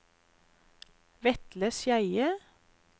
Vetle Skeie